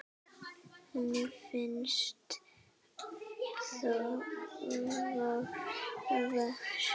Hann finnst þó víðar.